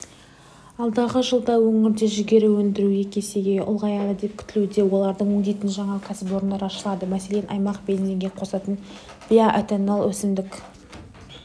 алдағы жылда өңірде жүгері өндіру екі есеге ұлғаяды деп күтілуде оларды өңдейтін жаңа кәсіпорындар ашылады мәселен аймақ бензинге қосатын биоэтанол өсімдік